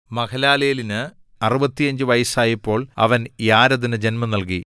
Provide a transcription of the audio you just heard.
മഹലലേലിന് 65 വയസ്സായപ്പോൾ അവൻ യാരെദിനു ജന്മം നൽകി